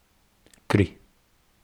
Kri.